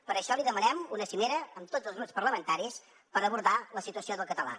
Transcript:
per això li demanem una cimera amb tots els grups parlamentaris per abordar la situació del català